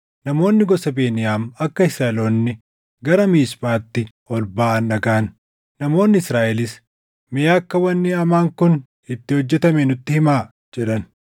Namoonni gosa Beniyaam akka Israaʼeloonni gara Miisphaatti ol baʼan dhagaʼan. Namoonni Israaʼelis, “Mee akka wanni hamaan kun itti hojjetame nutti himaa” jedhan.